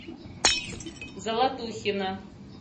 золотухина